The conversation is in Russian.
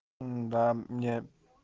мм да мне